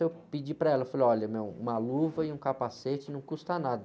Eu pedi para ela, falei, olha, meu, uma luva e um capacete não custa nada.